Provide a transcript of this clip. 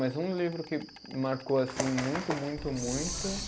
Mas um livro que marcou, assim, muito, muito, muito